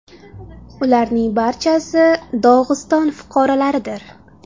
Ularning barchasi Dog‘iston fuqarolaridir.